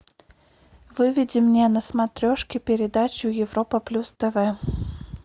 выведи мне на смотрешке передачу европа плюс тв